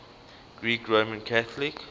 greek roman catholic